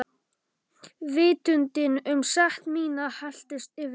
Vitundin um sekt mína helltist yfir mig.